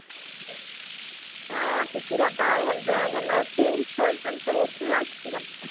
ହଁ ଟିକି ଦାଦା ଭଲ ଦେହ ଭଲ ଅଛି ଶୋଇଛନ୍ତି ସବୁ ଉଠିବେ ଆଉ ଟିକେ ଗଲେ